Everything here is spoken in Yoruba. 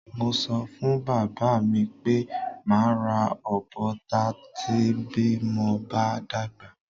Mo so̩ fún bàbá mi pé màá ra ọ̀bọ ta bí mo bá dàgbà.